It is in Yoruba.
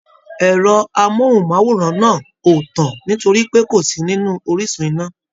Ẹrọ amohunmaworan náà o tán nitori pé kó sí nínú orísun iná.